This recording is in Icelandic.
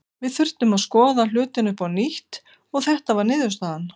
Við þurftum að skoða hlutina upp á nýtt og þetta var niðurstaðan.